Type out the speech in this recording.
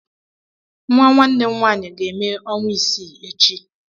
Nwa nwanne m nwaanyị ga-eme ọnwa isii echi.